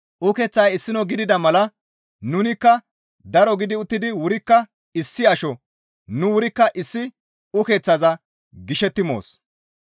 Ukeththay issino gidida mala nunikka daro gidi uttidi wurikka issi asho; nu wurikka issi ukeththaza gishetti moos.